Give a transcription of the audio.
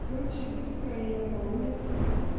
короче иду такая я по улице